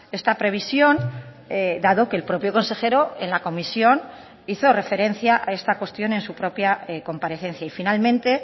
esta previsión dado que el propio consejero en la comisión hizo referencia a esta cuestión en su propia comparecencia y finalmente